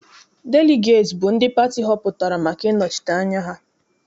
Deligeeti bụ ndị pati họpụtara maka ịnọchite anya ha.